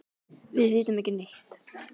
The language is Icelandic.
Við vitum ekki neitt.